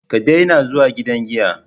Ka daina zuwa gidan giya